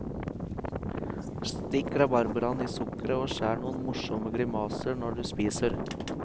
Stikk rabarbraen i sukkeret og skjær noen morsomme grimaser når du spiser.